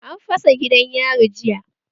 An fasa gidan yari jiya